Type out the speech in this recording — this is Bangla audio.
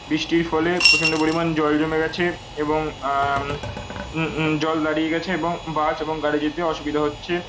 বৃষ্টির ফলে প্রচন্ড পরিমান জল জমে গেছে। এবং অ্যাম উমম উমম জল দাঁড়িয়ে গেছে এবং বাস এবং গাড়ী যেতে অসুবিধা হচ্ছে।